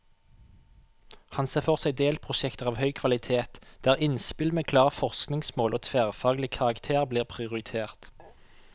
Han ser for seg delprosjekter av høy kvalitet, der innspill med klare forskningsmål og tverrfaglig karakter blir prioritert.